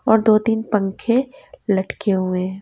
और दो-तीन पंखे लटके हुए--